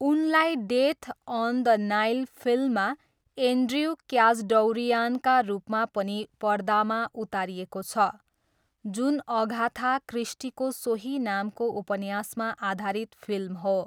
उनलाई Death on the Nile फिल्ममा Andrew क्याचडौरियानका रूपमा पनि पर्दामा उतारिएको छ, जुन अगाथा क्रिस्टीको सोही नामको उपन्यासमा आधारित फिल्म हो।